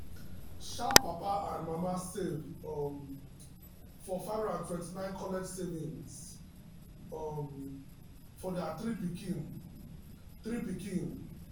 sharp papa and mama save um for 529 college savings um for their um three pikin. um three pikin.